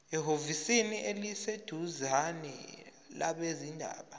ehhovisi eliseduzane labezindaba